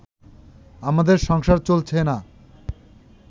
আমাদের সংসার চলছে না